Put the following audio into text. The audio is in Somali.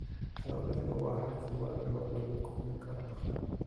Xooluhu waa hab hubaal ah oo lagu kordhin karo dakhliga.